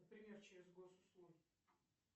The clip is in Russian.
например через госуслуги